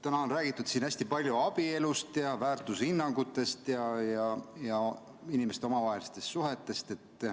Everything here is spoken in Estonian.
Täna on räägitud siin hästi palju abielust, väärtushinnangutest ja inimeste omavahelistest suhetest.